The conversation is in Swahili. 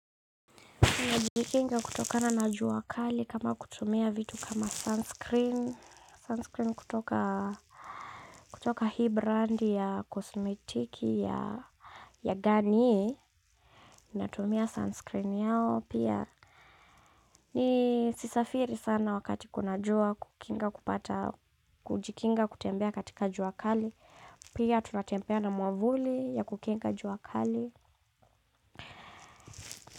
Najikinga kutokana na jua kali kama kutumia vitu kama sunscreen, sunscreen kutoka kutoka hii brandi ya kosmetiki ya ganiye, natumia sunscreen yao pia, nisisafiri sana wakati kunajua kukinga kupata, kujikinga kutembea katika jua kali, pia tunatembea na mwavuli ya kukinga jua kali.